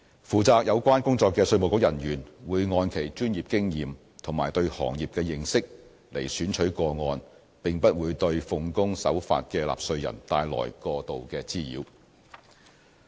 負責有關工作的稅務局人員，會按其專業經驗和對行業的認識來選取個案，並不會對奉公守法的納稅人帶來過度滋擾。